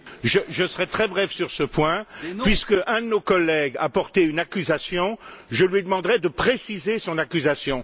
Madame la Présidente, je serai très bref sur ce point. Puisque l'un de nos collègues a porté une accusation, je lui demanderai de préciser son accusation.